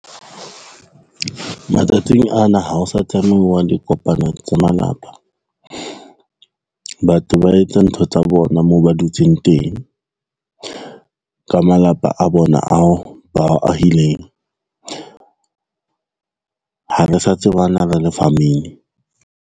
Matsatsing ana ha o sa tsamauwa dikopano tsa malapa, batho ba etsa ntho tsa bona moo ba dutseng teng ka malapa a bona ao ba wa ahileng. Ha re sa tsebana le famili.